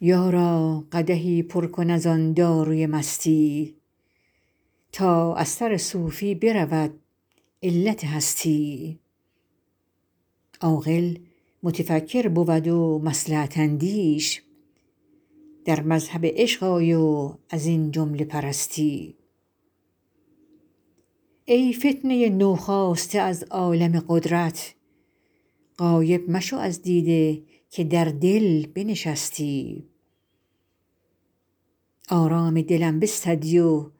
یارا قدحی پر کن از آن داروی مستی تا از سر صوفی برود علت هستی عاقل متفکر بود و مصلحت اندیش در مذهب عشق آی و از این جمله برستی ای فتنه نوخاسته از عالم قدرت غایب مشو از دیده که در دل بنشستی آرام دلم بستدی و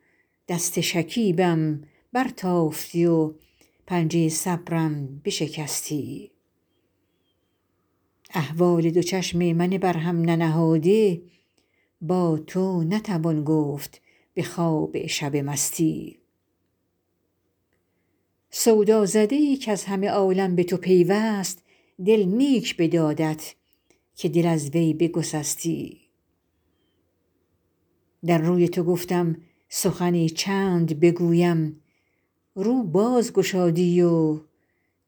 دست شکیبم برتافتی و پنجه صبرم بشکستی احوال دو چشم من بر هم ننهاده با تو نتوان گفت به خواب شب مستی سودازده ای کز همه عالم به تو پیوست دل نیک بدادت که دل از وی بگسستی در روی تو گفتم سخنی چند بگویم رو باز گشادی و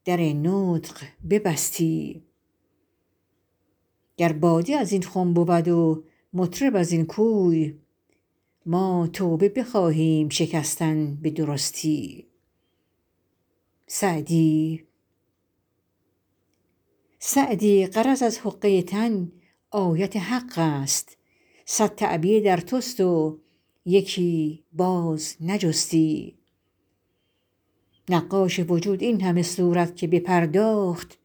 در نطق ببستی گر باده از این خم بود و مطرب از این کوی ما توبه بخواهیم شکستن به درستی سعدی غرض از حقه تن آیت حق است صد تعبیه در توست و یکی باز نجستی نقاش وجود این همه صورت که بپرداخت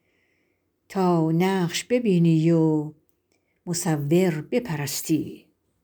تا نقش ببینی و مصور بپرستی